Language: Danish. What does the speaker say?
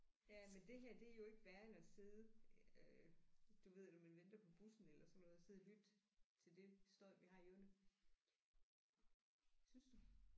Ja men det her det er jo ikke værre end at sidde øh du ved når man venter på bussen eller sådan noget sidde og lytte til det støj vi har i ørene. Synes du